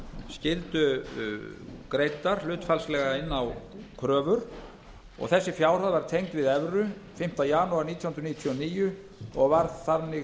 skyldu greiddar hlutfallslega inn á kröfur þessi fjárhæð var tengd við evru fimmta janúar nítján hundruð níutíu og níu og varð þannig til